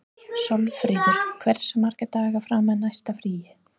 Sólfríður, hversu margir dagar fram að næsta fríi?